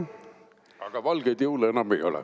Aga valgeid jõule enam ei ole.